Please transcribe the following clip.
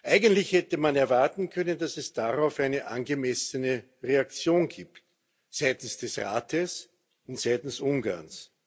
Eigentlich hätte man erwarten können, dass es darauf eine angemessene Reaktion gibt seitens des Rates und seitens Ungarns.